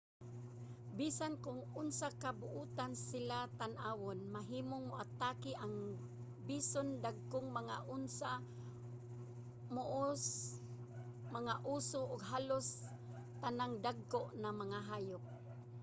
bisan kon unsa ka buotan sila tan-awon mahimong moatake ang bison dagkong mga osa moose mga oso ug halos tanang dagko nga mga hayop